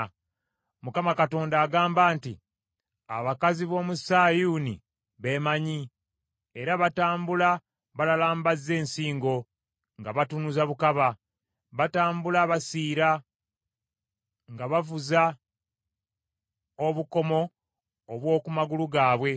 Mukama Katonda agamba nti, “Abakazi b’omu Sayuuni beemanyi, era batambula balalambazza ensingo nga batunuza bukaba. Batambula basiira nga bavuza obukomo bw’oku magulu gaabwe.